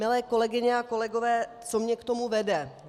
Milé kolegyně a kolegové, co mě k tomu vede?